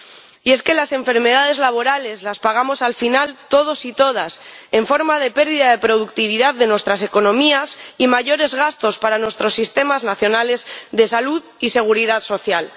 Y es que las enfermedades laborales las pagamos, al final, todos y todas en forma de pérdida de productividad de nuestras economías y mayores gastos para nuestros sistemas nacionales de salud y seguridad social.